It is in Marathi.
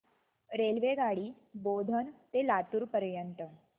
रेल्वेगाडी बोधन ते लातूर पर्यंत